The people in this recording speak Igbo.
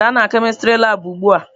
Gaa na kemistri labụ ugbu a!